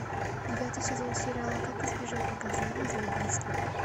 девятый сезон сериала как избежать наказания за убийство